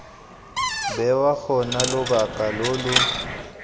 bewa gona lobaka lo lo